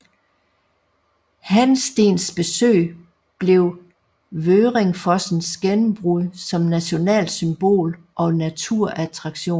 Hansteens besøg blev Vøringfossens gennembrud som nationalt symbol og naturattraktion